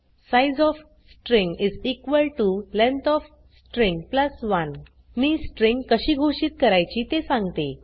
size of string length of string 1 मी string कशी घोषित करायची ते सांगते